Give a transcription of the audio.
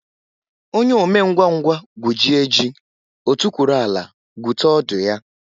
Onye omengwangwa gwujie ji, o tukwuru ala gwute ọdụ ya.